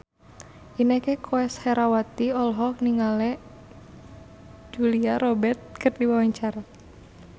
Inneke Koesherawati olohok ningali Julia Robert keur diwawancara